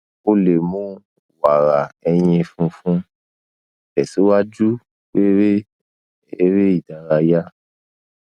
o le mu wara ẹyin funfun tesiwaju pere ere idaraya